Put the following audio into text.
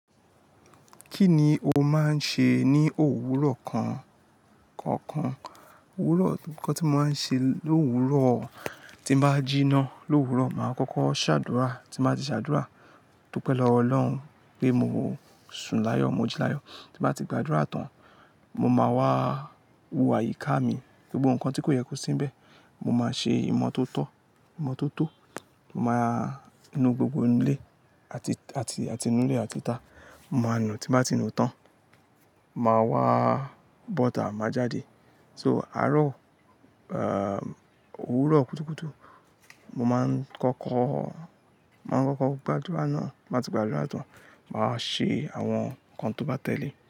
Kí ni o máa ń ṣe ní òwúrọ̀ kan, kankan? Òwúrọ̀, nnkan tí mo máa ń ṣe lòwúrọ̀, tí n bá jíná lòwúrọ̀, màá kọ́kọ́ ṣàdúrà. Tí n bàá ti ṣàdúrà, dúpẹ̀ lọwo Ọlọ́run pé mo sùn láyọ̀, mo jí láyọ̀. Tí n bàá ti gba àdúrà tán, mo máa wá wo àyíká mi, gbogbo ǹnkan tí kò yẹ kó sín bẹ̀. Mo máa ṣe ìmọ́tótó, ìmọ́tótó. Mo máa nu gbogbo inu ilé àti, àti, àti inú ilé àti ta. Mo máa nù, tí màá ti nù tán, màá wá bọ́ta, màá jáde. So àáro, òwúrọ̀ kútùkútù, mo máa ń kọ́kọ́, màá n kọ́kọ́ gbàdúrà náà. Ti n bá ti gba àdúrà tán, màa wa ṣe àwọn nǹkan tó bá tẹ̀lé.